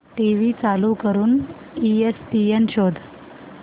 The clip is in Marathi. टीव्ही चालू करून ईएसपीएन शोध